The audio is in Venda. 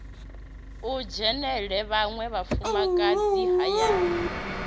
o dzhenela vhaṅwe vhafumakadzi hayani